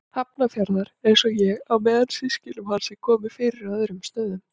Hafnarfjarðar, einsog ég, á meðan systkinum hans er komið fyrir á öðrum stöðum.